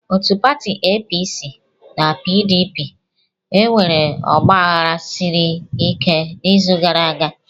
Otu pati APC na PDP enwere ọgbaghara siri ike n'izu gara aga.